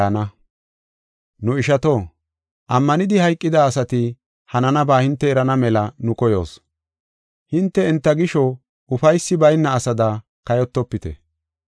Nu ishato, ammanidi hayqida asati hananaba hinte erana mela nu koyoos. Hinte enta gisho ufaysi bayna asada kayotofite.